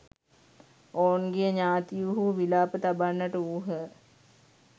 ඔවුන්ගේ ඥාතීහු විලාප තබන්නට වූහ.